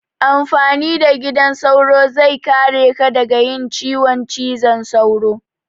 Amfani da gidan sauro zai kare ka daga yin ciwon cizon sauro.